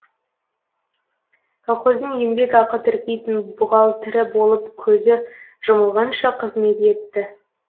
колхоздың еңбекақы тіркейтін бұғалтірі болып көзі жұмылғанша қызмет етті